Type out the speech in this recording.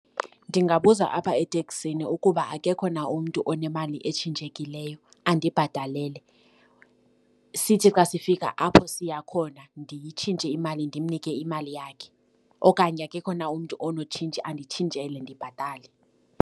Ndingabuza apha eteksini ukuba akekho na umntu onemali etshintshekileyo andibhatalele, sithi xa sifika apho siya khona ndiyitshintshe imali ndimnike imali yakhe, okanye akekho na umntu onetshintshi anditshintshele ndibhatale.